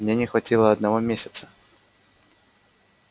мне не хватило одного месяца